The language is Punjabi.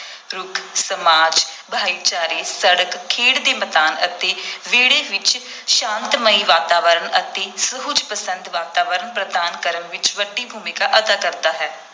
ਰੁੱਖ ਸਮਾਜ, ਭਾਈਚਾਰੇ, ਸੜਕ, ਖੇਡ ਦੇ ਮੈਦਾਨ ਅਤੇ ਵਿਹੜੇ ਵਿਚ ਸ਼ਾਂਤਮਈ ਵਾਤਾਵਰਣ ਅਤੇ ਸੁਹਜ ਪਸੰਦ ਵਾਤਾਵਰਣ ਪ੍ਰਦਾਨ ਕਰਨ ਵਿਚ ਵੱਡੀ ਭੂਮਿਕਾ ਅਦਾ ਕਰਦਾ ਹੈ।